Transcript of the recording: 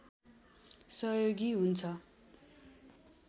सहयोगी हुन्छ